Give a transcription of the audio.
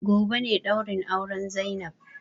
Gobe ne ɗaurin auren zainab